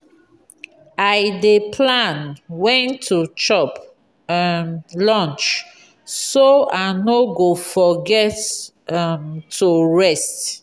i dey plan when to chop um lunch so i no go forget um to rest.